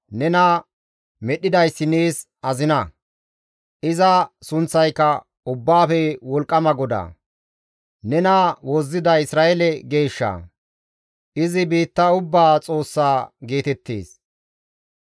Nena medhdhidayssi nees azina; iza sunththayka Ubbaafe Wolqqama GODAA. Nena wozziday Isra7eele Geeshsha; izi biitta ubbaa Xoossa geetettees.